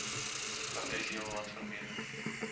vereis heelwat verbetering